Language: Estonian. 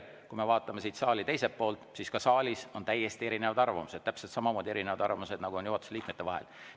Kui me vaatame siit saali teiselt poolt, siis ka saalis on täiesti erinevad arvamused, täpselt samamoodi, nagu on juhatuse liikmetel.